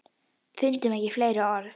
Fundum ekki fleiri orð.